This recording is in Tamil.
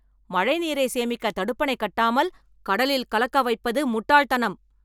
மழைநீரை சேமிக்க தடுப்பணை கட்டாமல் கடலில் கலக்க வைப்பது முட்டாள் தனம்.